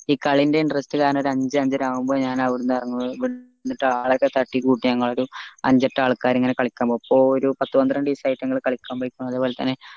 ഈ ക്ളീൻ്റെ interest കാരണം അഞ്ച അഞ്ചര ആവുമ്പൊ ഞാൻ ഇവ്ട്ന്ന് ഇറങ്ങും എന്നിട്ട് ആളെയൊക്കെ തട്ടിക്കൂട്ടി ഞങ്ങളൊരു അഞ്ച എട്ട് ആൾക്കാര് ഇങ്ങനെ കളിക്കാൻ പോവും അപ്പൊരു പത്ത് പത്രണ്ട് ദിവസ്സയിട്ട് ഞങ്ങൾ പോയിരിക്കണു അത്പോലെ തന്നെ